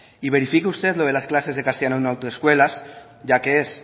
y verifique usted lo de las clases de castellano en autoescuelas ya que es